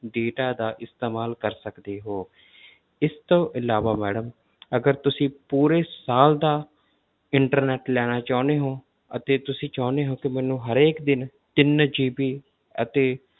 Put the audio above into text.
Data ਦਾ ਇਸਤੇਮਾਲ ਕਰ ਸਕਦੇ ਹੋ ਇਸ ਤੋਂ ਇਲਾਵਾ madam ਅਗਰ ਤੁਸੀਂ ਪੂਰੇ ਸਾਲ ਦਾ internet ਲੈਣਾ ਚਾਹੁੰਦੇ ਹੋ ਅਤੇ ਤੁਸੀਂ ਚਾਹੁੰਦੇ ਹੋ ਕਿ ਮੈਨੂੰ ਹਰੇਕ ਦਿਨ ਤਿੰਨ GB ਅਤੇ